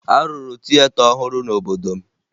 A rụrụ tieta ọhụrụ n'obodo m